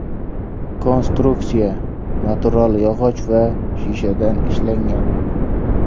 Konstruksiya natural yog‘och va shishadan ishlangan.